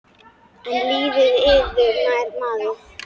En lítið yður nær maður.